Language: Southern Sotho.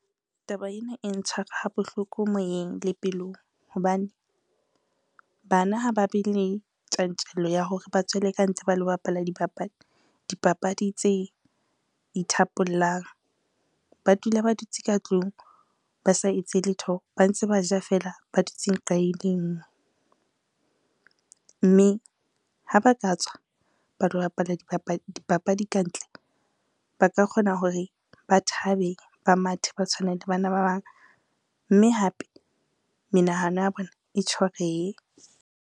Taba ena e ntshwara ha bohloko moyeng le pelong hobane, bana ha ba be le tjantjello ya hore ba tswele ka ntle ba lo bapala dipapadi tse ithapollang. Ba dula ba dutse ka tlung ba sa etse letho, ba ntse ba ja fela, ba dutseng nqa e le nngwe, mme ha ba ka tswa ba lo bapala dipapadi kantle, ba ka kgona hore ba thabe, ba mathe ba tshwane le bana ba bang mme hape menahano ya bona e .